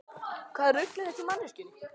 Hvaða rugl er þetta í manneskjunni?